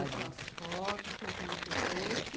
suas fotos, tudo que você trouxe.